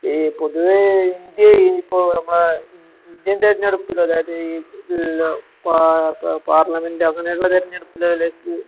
ഇഹ് പൊതുവേഇൻഡ്യയിപ്പോന്നമ്മടെ ഇൻ ഇൻ ഇൻഡ്യൻതെരഞ്ഞെടുപ്പില്ലെതായത് ഇഹ് ലോ പാ പാ പാർലമെൻറ് അങ്ങനെയുള്ളതെരഞ്ഞെടുപ്പിലേലെക്ക്